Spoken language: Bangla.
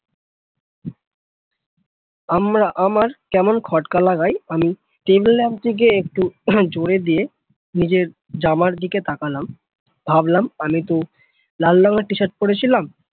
আমরা আমার কেমন খটকা লাগায় আমি table lamp টাকে একটু জোরে দিয়ে নিজের জামার দিকে তাকালাম ভাবলাম আমি তো লাল রংয়ের টি shirt পড়েছিলাম